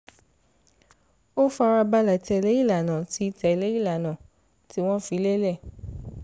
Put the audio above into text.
ó fara balẹ̀ tẹ̀lé ìlànà tí tẹ̀lé ìlànà tí wọ́n fi lélẹ̀